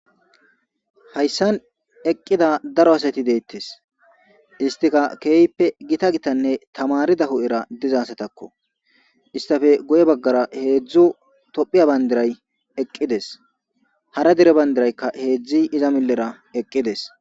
Hayissan eqqida daro asati deettes istika keeyppe gita gitanne tamarida hudhera dizasatakko istafe goye baggara heehzo tophiya bayndiray eqqides hara dere bandiraykka heeiza millera eqqides